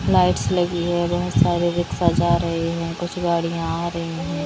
Lights लगी है बोहोत सारी रिक्शा जा रहे है कुछ गाड़ियां और हैं।